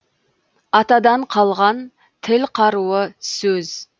атадан қалған тіл қаруы сөз